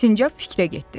Sincab fikrə getdi.